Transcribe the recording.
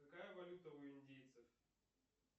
какая валюта у индийцев